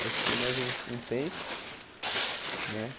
Aí fiquei mais um um tempo né.